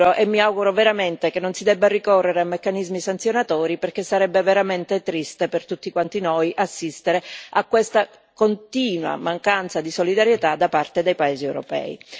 E mi auguro veramente che non si debba ricorrere a meccanismi sanzionatori perché sarebbe veramente triste per tutti quanti noi assistere a questa continua mancanza di solidarietà da parte dei paesi europei.